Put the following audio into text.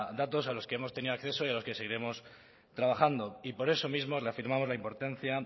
datos a los que hemos tenido acceso y en los que seguiremos trabajando y por eso mismo reafirmamos la importancia